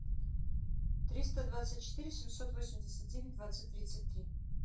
триста двадцать четыре семьсот восемьдесят девять двадцать тридцать три